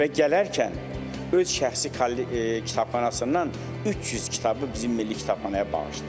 Və gələndə öz şəxsi kitabxanasından 300 kitabı bizim Milli Kitabxanaya bağışlayıb.